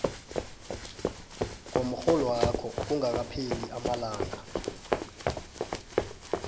komrholwakho kungakapheli amalanga